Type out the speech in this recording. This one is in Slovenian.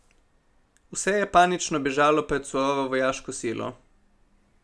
Vse je panično bežalo pred surovo vojaško silo.